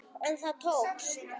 En það tókst.